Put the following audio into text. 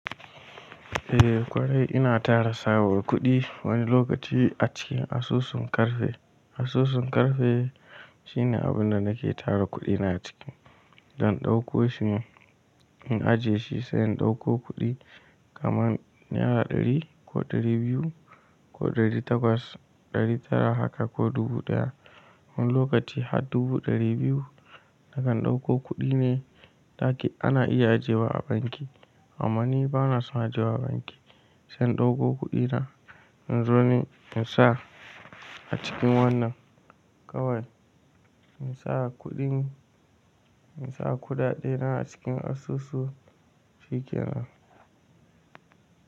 Eh kwarai ina tara tsabar kuɗi wani lokaci a cikin asusun ƙarfe. Asusun ƙarfe shine abunda nake tara kuɗina ciki. Zan ɗauko shi ne in ajiye shi sai in ɗauko kuɗi kaman naira ɗari ko ɗari biyu ko ɗari takwas, ɗari tara haka ko dubu ɗaya. Wani lokaci har dubu ɗari biyu nakan ɗauko kuɗi ne ɗaki ana iya ajewa a banki. Amma ni bana son ajewa banki. Sai in ɗauko kuɗina in zo ne in sa a cikin wannan kawai. In sa kuɗin, in sa kuɗaɗena a cikin asusu cikin.